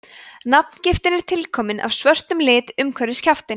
nafngiftin er tilkomin af svörtum lit umhverfis kjaftinn